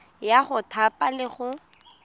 ya go thapa le go